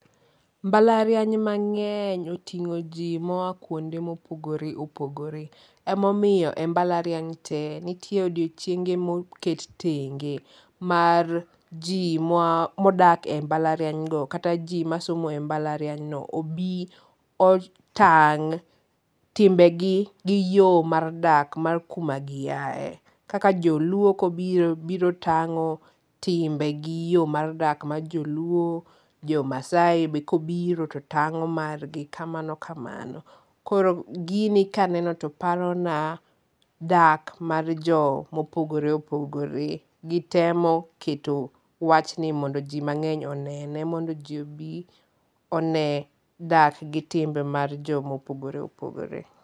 Mbalariany mang'eny otingo ji moa kuonde mopogore opogore emomiyo e mbalariany te nitie odiochienge moket tenge mar ji modak embalariany go kata ji masomo e mbalariany no obi otang' timbe gi gi yo mar dak mar kuma gi aye kaka joluo kobiro ,biro tang'o timbe gi gi yo mar dak mar joluo ,jo maasai be kobiro to tang'o mar gi kamano kamano, koro gini kaneno to parona dak mar jomo pogore opogore gitemo keto wachni mondo ji mang'eny onene mondo ji obi one dak gi timbe mar ji mopogore opogore.